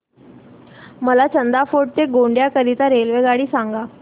मला चांदा फोर्ट ते गोंदिया करीता रेल्वेगाडी सांगा